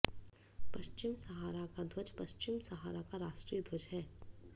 पश्चिम Sahara का ध्वज पश्चिम सहारा का राष्ट्रीय ध्वज है